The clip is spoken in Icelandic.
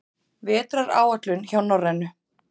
Vetraráætlun hjá Norrænu